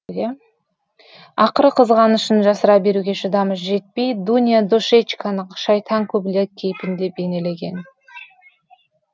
ақыры қызғанышын жасыра беруге шыдамы жетпей дуня душечканы шайтан көбелек кейпінде бейнелеген